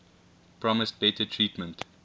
promised better treatment